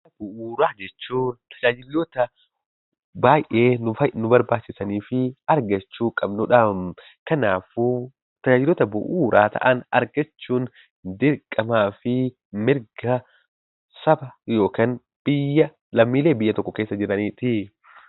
Tajaajila Bu'uuraa jechuun tajaajiloota baay'ee nu barbaachisanii fi argachuu qabnu dhaam. Kanaafuu tajaajiloota bu'uura ta'an argachuun dirqamaa fi mirga saba yookaan lammiilee biyya tokko keessa jiraniiti.